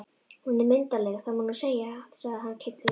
Hún er myndarleg, það má nú segja, sagði hann kindarlega.